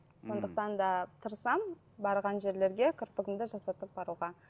сондықтан да тырысамын барған жерлерге кірпігімді жасатып баруға